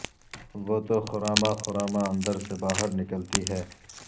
وہ تو خراماں خراماں اندر سے باہر نکلتی ہے